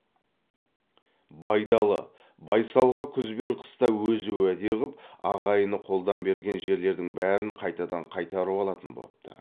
байдалы байсалға күз бен қыста өзі уәде ғып ағайыны қолдан берген жерлердің бәрін қайтадан қайтарып алатын бопты